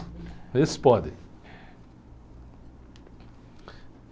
Esses podem.